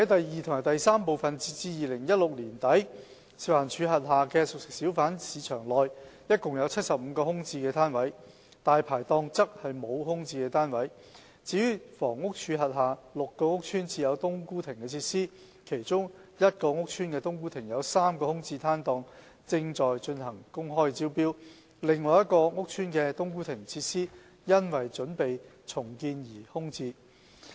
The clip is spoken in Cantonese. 二及三截至2016年年底，食環署轄下的熟食小販市場內，共有75個空置的攤位；"大牌檔"沒有空置檔位；至於房屋署轄下6個屋邨設有"冬菇亭"設施，其中一個屋邨的"冬菇亭"有3個空置檔位正在進行公開招標，另一個屋邨的"冬菇亭"設施因準備重建而空置。